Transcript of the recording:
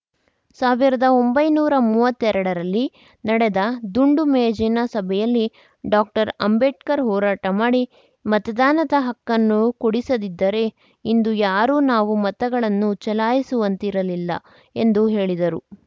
ಸಾವಿರದ ಒಂಬೈನೂರಾ ಮೂವತ್ತೆರಡರಲ್ಲಿ ನಡೆದ ದುಂಡು ಮೇಜಿನ ಸಭೆಯಲ್ಲಿ ಡಾಕ್ಟರ್ ಅಂಬೇಡ್ಕರ್‌ ಹೋರಾಟ ಮಾಡಿ ಮತದಾನದ ಹಕ್ಕನ್ನು ಕೊಡಿಸದಿದ್ದರೆ ಇಂದು ಯಾರೂ ನಾವು ಮತಗಳನ್ನು ಚಲಾಯಿಸುವಂತೆ ಇರುತ್ತಿರಲಿಲ್ಲ ಎಂದು ಹೇಳಿದರು